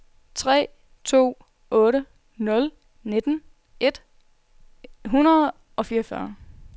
tre to otte nul nitten et hundrede og fireogfyrre